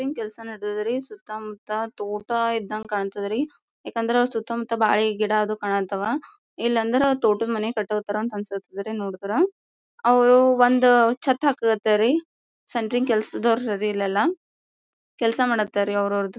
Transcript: Ring ಕೆಲ್ಸ್ ನಡೆದದ್ ರೀ ಸುತ್ತಮುತ್ತ ತೋಟ ಇದಂಗೆ ಕಾಣತ್ತದ್ ರೀ ಯಾಕಂದ್ರೆ ಸುತ್ತಮುತ್ತ ಬಾಳಿ ಗಿಡ ಅದು ಕಾಣತ್ತವ್ ಇಲ್ಲಾಂದ್ರೆ ತೋಟದ ಮನೆ ಕಟ್ಟೊತ್ತರ ಅಂತ ಅನ್ನಸುತ್ ರೀ ನೋಡದ್ರ ಅವ್ರು ಒಂದ್ ಛತ್ತ ಹಾಕತ್ತರಿ ಸೆಂಟ್ರಿಂಗ್ ಕೆಸ್ಲದವರು ರೀ ಇಲ್ಲೆಲ್ಲಾ ಕೆಲ್ಸ ಮಾಡಕ್ಕತ್ತರಿ ಅವ್ರ ಅವ್ರದು.